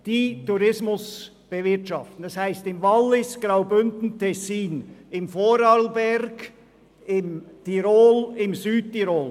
Das sind die Kantone Wallis, Graubünden und Tessin, die Bundesländer Vorarlberg und Tirol und die Provinz Südtirol.